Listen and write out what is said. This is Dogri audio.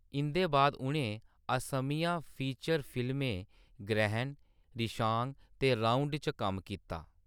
इंʼदे बाद उʼनें असमिया फीचर फिल्में ग्रहण, रिशांग ते राउड च कम्म कीता।